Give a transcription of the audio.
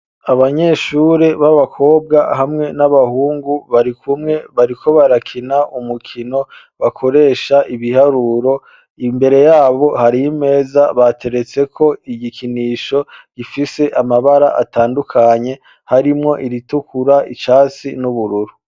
Abanyeshure b'abakobwa hamwe n'abahungu bari kumwe bariko barakina umukino bakoresha ibiharuro imbere yabo hari imeza bateretse ko igikinisho gifise amabara atandukanye harimwo iritukura, icatsi n'ubururu.